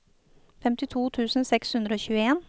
femtito tusen seks hundre og tjueen